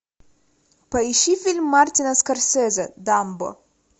поищи фильм мартина скорсезе дамбо